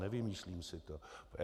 Nevymýšlím si to.